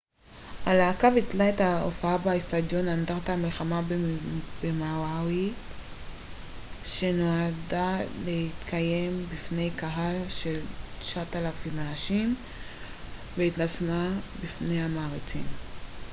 הלהקה ביטלה את ההופעה באצטדיון אנדרטת המלחמה במאווי שנועדה להתקיים בפני קהל של 9,000 איש והתנצלה בפני המעריצים